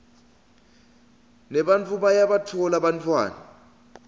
nebantfu bayabatfola bantfwana